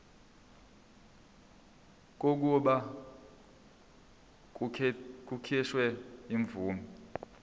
kokuba kukhishwe imvume